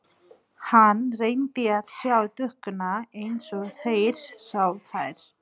Hann reyndi að sjá dúkkuna eins og þeir sáu þær.